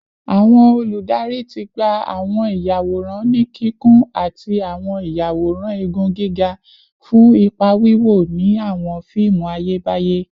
Awọn oludari ti gba awọn iyaworan ni kikun ati awọn iyaworan igun giga fun ipa wiwo ni awọn fiimu Ayebaye